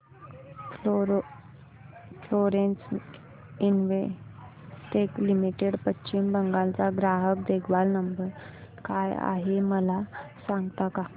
Florence Investec limited Paschim Bengal चा ग्राहक देखभाल नंबर काय आहे मला सांगता का